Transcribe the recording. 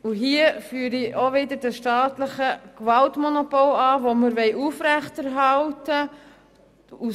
Hier führe ich auch wieder das staatliche Gewaltmonopol an, welches wir aufrechterhalten wollen.